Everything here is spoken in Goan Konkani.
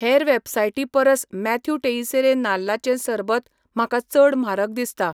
हेर वेबसायटीं परस मॅथ्यू टेइसेरे नाल्लाचें सरबत म्हाका चड म्हारग दिसता